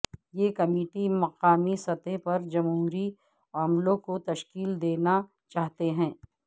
یہ کمیٹی مقامی سطح پر جمہوری عملوں کو تشکیل دینا چاہتے تھے